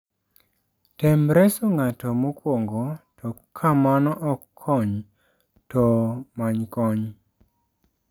Tem reso ng'ato mokwongo to ka mano ok konyo, to many kony.